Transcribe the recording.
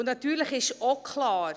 Natürlich ist auch klar: